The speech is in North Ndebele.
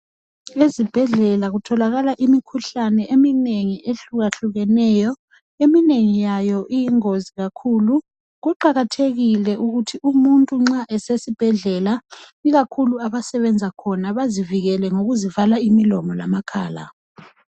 Ezibhedlela kutholakala imikhuhlane eminengi ehlukahlukeneyo eminengi yayo iyingozi kakhulu. Kuqakathekile ukuthi umuntu nxa esesibhedlela ikakhulu abasebenza khona bazivikele ngokuzivala imilomo lamakhala.